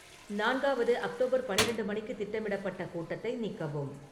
நான்காவது அக்டோபர் பன்னிரெண்டு மணிக்கு திட்டமிடப்பட்ட கூட்டத்தை நீக்கவும்